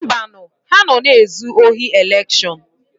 Mbanu, ha nọ na-ezu ohi elekshọn.